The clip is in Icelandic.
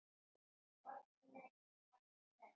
Oddný lætur sér hvergi bregða.